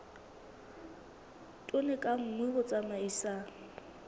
tone ka nngwe ho tsamaisa